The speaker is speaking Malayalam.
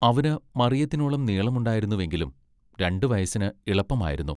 അവന് മറിയത്തിനോളം നീളമുണ്ടായിരുന്നുവെങ്കിലും രണ്ടു വയസ്സിന് ഇളപ്പമായിരുന്നു.